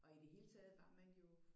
Og i det hele taget var man jo